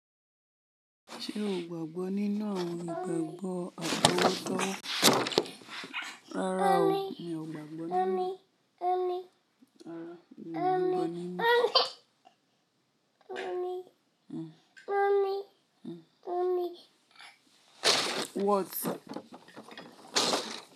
Mi o gbàgbọ́ nínu awon igbàgbọ́ àpò otọ́. Rárá o, mí ò gbàgbọ́ nínu ẹ́. Rárá, mí ò gbàgbọ́ nínu ẹ́.